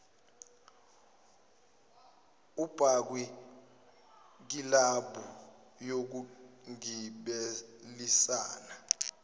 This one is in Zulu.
abakwi kilabhu yokugibelisana